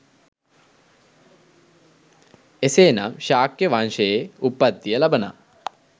එසේනම් ශාක්‍ය වංශයේ උප්පත්තිය ලබනා